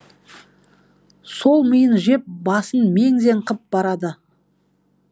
сол миын жеп басын мең зең қып барады